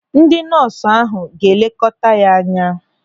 Ndị nọọsụ ahụ ga-elekọta ya anya.